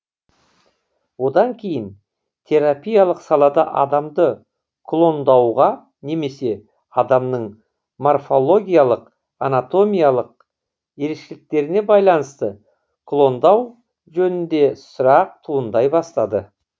одан кейін терапиялық салада адамды клондауға немесе адамның морфологиялық анатомиялық ерекшеліктеріне байланысты клондау жөнінде сұрақ туындай бастады